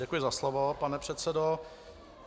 Děkuji za slovo, pane předsedo.